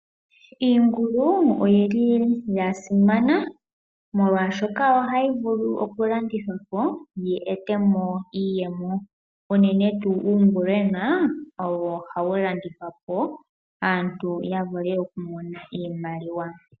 Iingulu, oyi li ya simana, molwaashoka oha yi vulu oku landithwapo, yi etemo iiyemo. Unene tuu uungulwena owo ha wu landithwapo opo aantu ya mone iimaliwa.